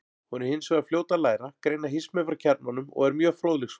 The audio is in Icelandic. Hún er hins vegar fljót að læra, greina hismið frá kjarnanum og er mjög fróðleiksfús.